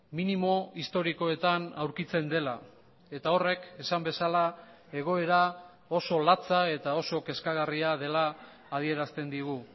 minimo historikoetan aurkitzen dela eta horrek esan bezala egoera oso latza eta oso kezkagarria dela adierazten digu